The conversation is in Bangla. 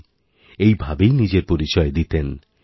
জী এই ভাবেই নিজের পরিচয় দিতেন